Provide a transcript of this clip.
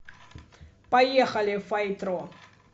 поехали файтро